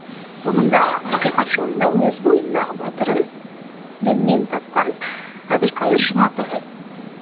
соныңда ақиқат жолында өз бойындағы батырын діннен тапқан әбілқайыр жұматаев